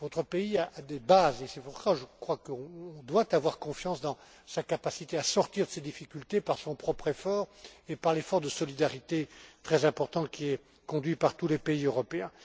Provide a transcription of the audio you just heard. Votre pays a des bases et c'est pour cela qu'on doit avoir confiance dans sa capacité à sortir de ses difficultés par son propre effort et par l'effort de solidarité très important qui est conduit par tous les pays européens.